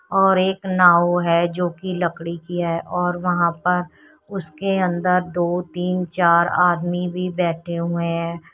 और एक नाव है जो की लकड़ी की है और वहां पर उसके अंदर दो तीन चार आदमी भी बैठे हुए हैं।